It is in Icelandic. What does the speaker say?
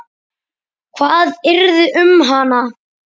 Hvað yrði um hana?